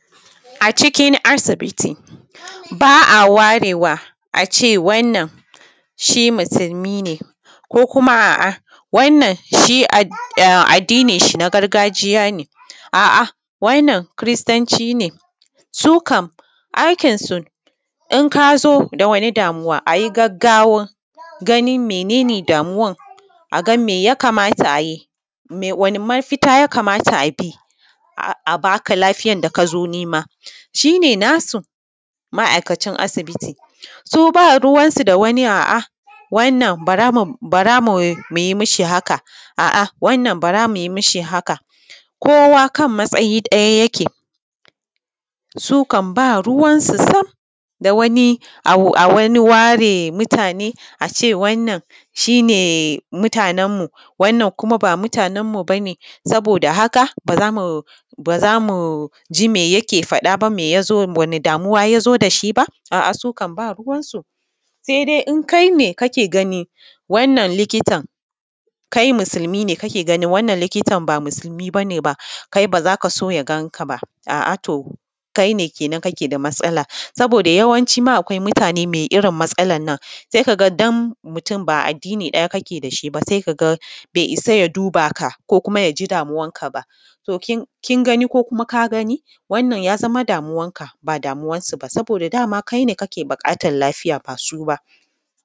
A cikin asibiti ba a warewa a ce: wannan shi musulmi ne ko kuma: a ce wannan shi addinin shi na gargajiya ne ko kuma: a ce wannan shi kiristi ne wannan su kam aikinsu in ka zo da wani damuwa a yi gaggawa gano mene ne damuwan a gam me ya kamata a yi wani mafita ya kamata a bi a ba ka lafiyar da ka zo nema shi ne nasu ma'aikacin asibiti ba ruwansu da wani addini wannan bara mu yi mu shi haka wannan bara mu yi mu shi haka kowa kan matsayi ɗaya yake su kam ba ruwansu sam da wani a wani ware mutane daban a ce wannan shi ne mutanenmu wannan kuma ba mutanen mu ba ne don haka ba za mu ji me yake faɗa ba ko wani damuwa ya zo da shi ba, a su kam ba ruwansu sai dai in kai ne kake wannan likitan kai musulmi ne wannan likitan ba musulmi ba ne ba kake so ya ganka ba kai ne kenan kake da matsala saboda yawanci ma akwai mutane mai irin matsalar nan. Idan mutum ba addini ɗaya kuke ba bai isa ya duba ka ba ko kuma: ya ji damuwanka ba kan gani ko kuma: ka gami wannan ya zama damuwarka ba damuwarsu ba dama kai ne kake buƙatar lafiya ba su ba.